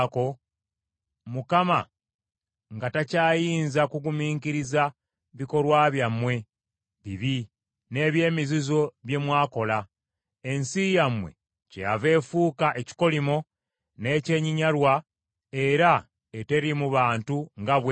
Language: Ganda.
Mukama nga takyayinza kugumiikiriza bikolwa byammwe bibi n’eby’emizizo bye mwakola, ensi yammwe kyeyava efuuka ekikolimo n’ekyenyinyalwa era eteriimu bantu, nga bweri leero.